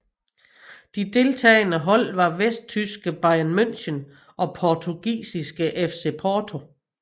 De deltagende hold var vesttyske Bayern München og portugisiske FC Porto